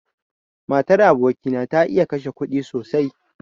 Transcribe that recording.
Matar aboki na ta iya kashe kuɗi sosai.